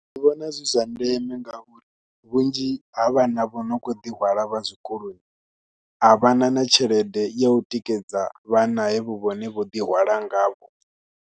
Ndi vhona zwi zwa ndeme ngauri vhunzhi ha vhana vho no khou ḓi hwala vha zwikoloni a vha na na tshelede ya u tikedza vhana havho vhane vho ḓi hwala ngavho.